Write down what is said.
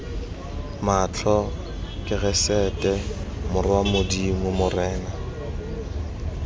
matlho keresete morwa modimo morena